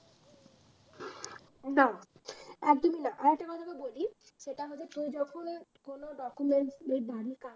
না একদমই না আর একটা কথা তোকে বলি সেটা হলো তুই যখন কোন documents